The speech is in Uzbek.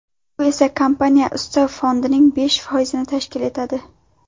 Bu esa kompaniya ustav fondining besh foizini tashkil etadi.